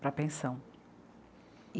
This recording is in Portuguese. Para a pensão.